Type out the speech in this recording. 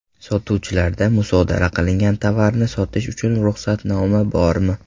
Sotuvchilarda musodara qilingan tovarni sotish uchun ruxsatnoma bormi?